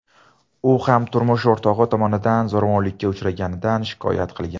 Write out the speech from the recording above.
U ham turmush o‘rtog‘i tomonidan zo‘ravonlikka uchraganidan shikoyat qilgan.